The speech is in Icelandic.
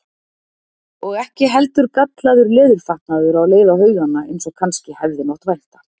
Og ekki heldur gallaður leðurfatnaður á leið á haugana eins og kannski hefði mátt vænta.